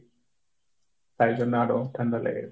তাই জন্য আরও ঠান্ডা লেগেছে।